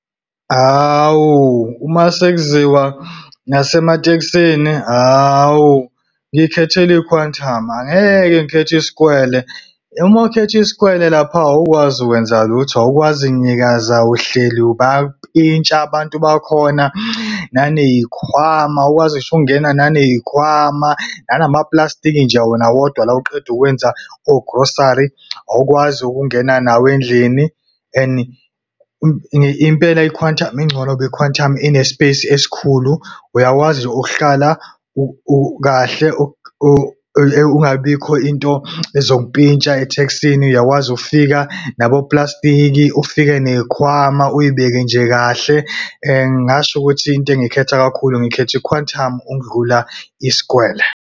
Hawu, uma sekuziwa ngasematekisini, hawu ngiy'khethela i-Quantum, angeke ngikhethe isikwele. Uma ukhetha isikwele lapha awukwazi kwenza lutho, awukwazi kunyakaza, uhleli bayakupintsha abantu bakhona. Naney'khwama awukwazi ngisho ukungena naneyikhwama. Nalamaplastiki nje wona wodwa oqeda ukwenza o-grocery, awukwazi ukungena nawo endlini. And impela i-Quantum ingcono noba i-Quantum ine space esikhulu, uyakwazi nje ukuhlala kahle kungabi bikho into ezokumpintsha eteksini. Uyakwazi ukufika naboplastiki, ufike neyikhwama uyibeke nje kahle. Ngingasho ukuthi into engayikhetha kakhulu ngikhetha i-Quantum ukudlula isikwele.